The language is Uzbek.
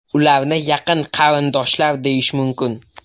Ularni yaqin qarindoshlar deyish mumkin.